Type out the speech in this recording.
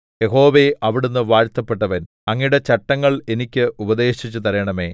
യഹോവേ അവിടുന്ന് വാഴ്ത്തപ്പെട്ടവൻ അങ്ങയുടെ ചട്ടങ്ങൾ എനിക്ക് ഉപദേശിച്ചു തരണമേ